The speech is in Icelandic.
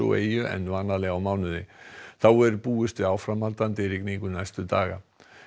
eyju en vanalega á einum mánuði þá er búist við áframhaldandi rigningu næstu daga